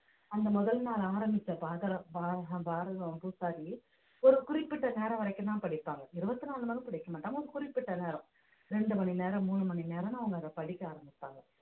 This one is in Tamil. அந்த முதல் நாள் ஆரம்பித்த பாரதம் பூசாரி ஒரு குறிப்பிட்ட நேரம் வரைக்கும்தான் படிப்பாங்க இருபத்தி நாலு மணி நேரமும் படிக்கமாட்டாங்க குறிப்பிட்ட நேரம் இரண்டு மணி நேரம் மூணு மணி நேரம்னு அவங்க அதை படிக்க ஆரம்பிப்பாங்க